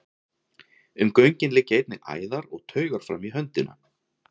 Um göngin liggja einnig æðar og taugar fram í hönd.